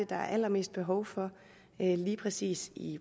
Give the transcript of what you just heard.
der er allermest behov for lige præcis i